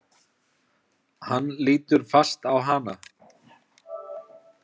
Hann lítur fast á hana.